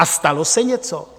A stalo se něco?